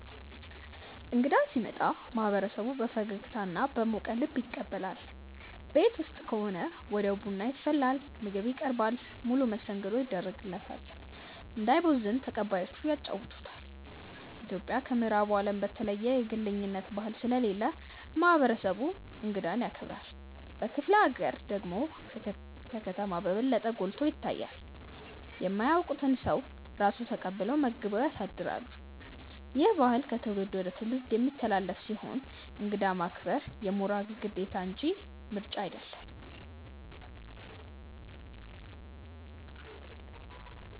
እንግዳ ሲመጣ ማህበረሰቡ በፈገግታና በሞቀ ልብ ይቀበላል። ቤት ውስጥ ከሆነ ወዲያው ቡና ይፈላል፣ ምግብ ይቀርባል፣ ሙሉ መስተንግዶ ይደረግለታል። እንዳይቦዝን ተቀባዮቹ ያጫውቱታል። ኢትዮጵያ ከምዕራቡ አለም በተለየ የግለኝነት ባህል ስለሌለ ማህበረሰቡ እንግዳን ያከብራል። በክፍለ ሀገር ደግሞ ከከተማ በበለጠ ጎልቶ ይታያል። የማያውቁትን ሰው ራሱ ተቀብለው መግበው ያሳድራሉ። ይህ ባህል ከትውልድ ወደ ትውልድ የሚተላለፍ ሲሆን እንግዳ ማክበር የሞራል ግዴታ እንጂ ምርጫ አይደለም።